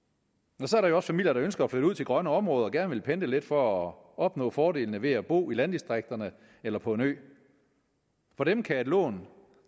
så er der familier der ønsker at flytte ud til grønne områder og gerne vil pendle lidt for at opnå fordelene ved at bo i landdistrikterne eller på en ø for dem kan et lån